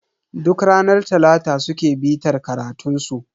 Duk ranar talata suke bitar karatunsu